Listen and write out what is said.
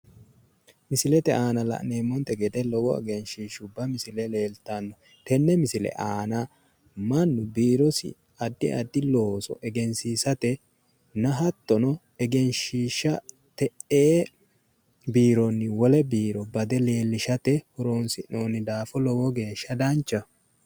Misilete aana la'neemmonte gede lowo egenshiishubba misile leeltanno tenne misile aana mannu biirosi addi looso egensiissatenna hattono, egenshiishsha te"e biironni wole biiro bade leellishate horonsi'nonni daafo lowo geeshsha danchaho.